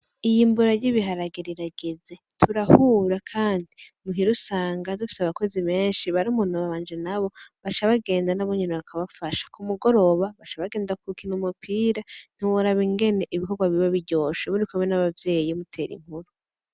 Iyimbura ry'ibiharage rirageze turahura kandi muhira usanga dufise abakozi benshi barumuna banje nabo baca bagenda nabo nyene bakabafasha kumugoroba baca bagenda gukina umupira ntiworaba ingene ibikogwa biba biryoshe muri kumwe n'abavyeyi mutera inkuru.